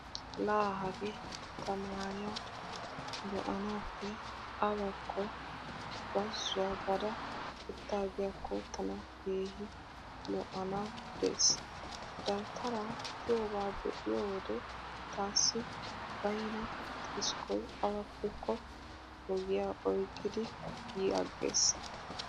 Laa hagaa tamaariya be'anaappe awakko bazzuwaa baada uttaagiyaakko tana keehi lo"anawu deesi. Dawutara giyooba be'iyo wode taassi baynna xiskkoy awappekko ogiya oyqqidi yi aggees.